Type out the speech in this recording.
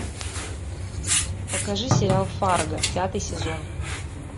покажи сериал фарго пятый сезон